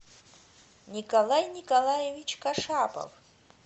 николай николаевич кашапов